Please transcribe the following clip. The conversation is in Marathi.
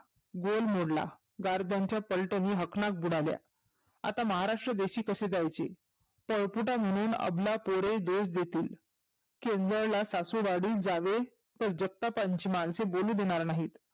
बोल मोडला गारदांच्या पलटनी हकनात बुडाल्या. आता महाराष्ट्रादेशी कसे जायचे? पळकुटा म्हणून अबला पोरे दोष देतील. किवळला सासुरवाडीस जावे तर जगतापांचे माणसे बोलू देनार नाहीत.